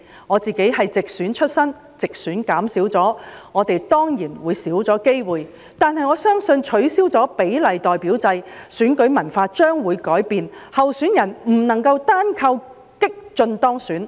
我是直選出身，直選議席減少了，我們當然會少了機會，但我相信在取消比例代表制後，選舉文化將會改變，候選人不能單靠激進當選。